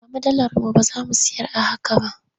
Ba mu dalar mu ba za mu sayar a haka ba.